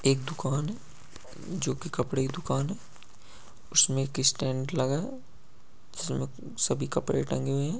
एक दुकान है जो की कपड़े की दुकान है उसमें एक स्टैंड लगा है जिसमे सभी कपड़े टंगे हुए हैं।